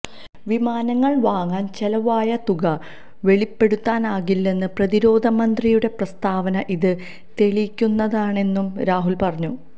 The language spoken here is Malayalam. വിമാനങ്ങള് വാങ്ങാന് ചെലവായ തുക വെളിപ്പെടുത്താനാകില്ലെന്ന പ്രതിരോധമന്ത്രിയുടെ പ്രസ്താവന ഇത് തെളിയിക്കുന്നതാണെന്നും രാഹുല് പറഞ്ഞു